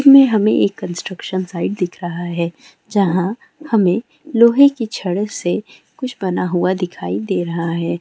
मैं हमें एक कंस्ट्रक्शन साइट दिख रहा है जहां हमें लोहे की छड़ से कुछ बना हुआ दिखाई दे रहा है।